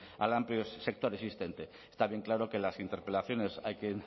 al amplio sector existente está bien claro que las interpelaciones hay que